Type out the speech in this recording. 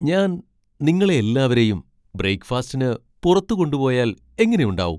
ഞാൻ നിങ്ങളെ എല്ലാവരെയും ബ്രെയിക്ക്ഫാസ്റ്റിന് പുറത്ത് കൊണ്ടുപോയാൽ എങ്ങനെയുണ്ടാവും?